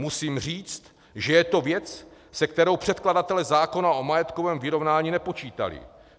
Musím říct, že je to věc, se kterou předkladatelé zákona o majetkovém vyrovnání nepočítali.